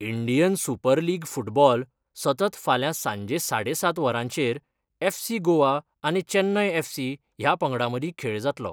Indian Super League football सतत फाल्यां सांजे साडे सात वरांचेर एफसी गोवा आनी चेन्नय एफसी ह्या पंगडां मदीं खेळ जातलो.